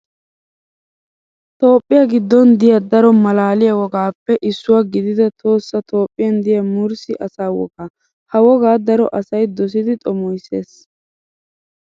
Toophiyaa giddon diya daro maalaliyaa wogaappe issuwaa gidida tohossa toophiyan diya murssi asaa wogaa. Ha wogaa daro asayi dosidi xomoises.